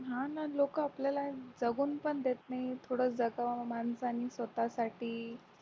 हा ना लोक आपल्याला जगून पण देत नाही थोड जगाव माणसाला स्वतासाठी